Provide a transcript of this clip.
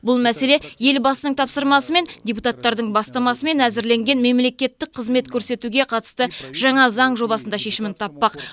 бұл мәселе елбасының тапсырмасымен депутаттардың бастамасымен әзірленген мемлекеттік қызмет көрсетуге қатысты жаңа заң жобасында шешімін таппақ